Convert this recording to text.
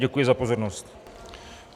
Děkuji za pozornost.